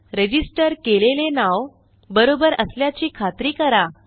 register केलेले नाव बरोबर असल्याची खात्री करा